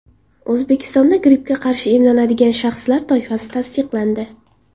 O‘zbekistonda grippga qarshi emlanadigan shaxslar toifasi tasdiqlandi.